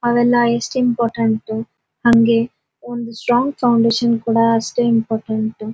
ಅವೆಲ್ಲ ಎಸ್ಟ್ ಇಂಪಾರ್ಟೆಂಟ್ ಹಂಗೆ ಒಂದು ಸ್ಟ್ರಾಂಗ್ ಫೌಂಡೇಶನ್ ಕೂಡ ಅಷ್ಟೇ ಇಂಪಾರ್ಟೆಂಟ್ --